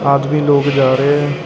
ਆਦਮੀ ਲੋਗ ਜਾ ਰੇਆ --